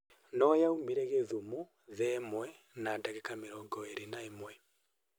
No yagũire Kisumu thaa ĩmwe na dagĩka mĩrongo ĩrĩ na ĩmwe